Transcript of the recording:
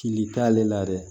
Fili t'ale la dɛ